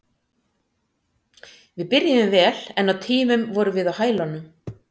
Við byrjuðum vel en á tímum vorum við á hælunum.